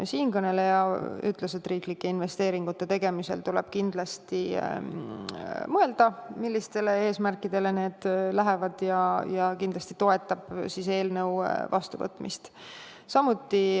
Siinkõneleja ütles, et riiklike investeeringute tegemisel tuleb kindlasti mõelda, milliste eesmärkide saavutamiseks need lähevad, ja ta kindlasti toetab eelnõu vastuvõtmist.